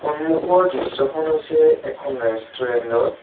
সন্মুখৰ দৃশ্যখন হৈছে এখন ৰেষ্টুৰেণ্ট ৰ।